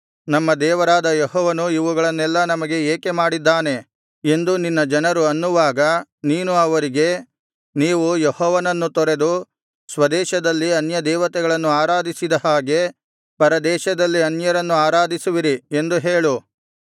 ನಮ್ಮ ದೇವರಾದ ಯೆಹೋವನು ಇವುಗಳನ್ನೆಲ್ಲಾ ನಮಗೆ ಏಕೆ ಮಾಡಿದ್ದಾನೆ ಎಂದು ನಿನ್ನ ಜನರು ಅನ್ನುವಾಗ ನೀನು ಅವರಿಗೆ ನೀವು ಯೆಹೋವನನ್ನು ತೊರೆದು ಸ್ವದೇಶದಲ್ಲಿ ಅನ್ಯದೇವತೆಗಳನ್ನು ಆರಾಧಿಸಿದ ಹಾಗೆ ಪರದೇಶದಲ್ಲಿ ಅನ್ಯರನ್ನು ಆರಾಧಿಸುವಿರಿ ಎಂದು ಹೇಳು